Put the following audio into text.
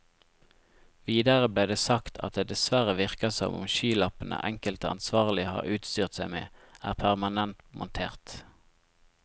Videre ble det sagt at det dessverre virker som om skylappene enkelte ansvarlige har utstyrt seg med, er permanent montert.